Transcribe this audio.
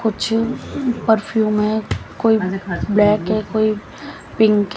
कुछ परफ्यूम हैं कोई ब्लैक है कोई पिंक --